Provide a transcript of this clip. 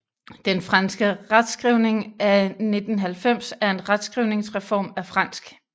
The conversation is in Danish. Den franske retskrivning af 1990 er en retskrivningsreform af fransk